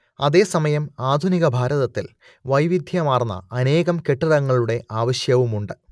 അതേസമയം ആധുനിക ഭാരതത്തിൽ വൈവിധ്യമാർന്ന അനേകം കെട്ടിടങ്ങളുടെ ആവശ്യവുമുണ്ട്